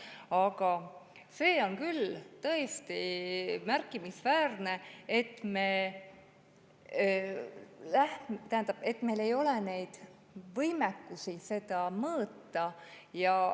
Aga see on küll tõesti märkimisväärne, et meil ei ole võimekust seda mõõta.